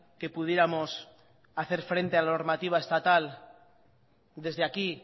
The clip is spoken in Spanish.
que pudiéramos hacer frente a la normativa estatal desde aquí